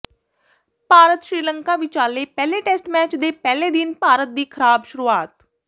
ਭਾਰਤ ਸ੍ਰੀਲੰਕਾ ਵਿਚਾਲੇ ਪਹਿਲੇ test match ਦੇ ਪਹਿਲੇ ਦਿਨ ਭਾਰਤ ਦੀ ਖਰਾਬ ਸ਼ੁਰੂਆਤ